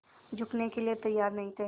झुकने के लिए तैयार नहीं थे